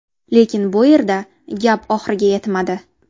Lekin bu yerda gap oxiriga yetmadi.